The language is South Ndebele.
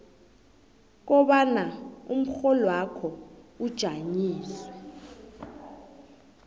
kobana umrholwakho ujanyisiwe